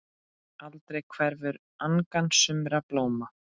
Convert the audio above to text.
Aldrei hverfur angan sumra blóma.